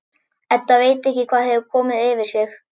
Edda veit ekki hvað hefur komið yfir sig.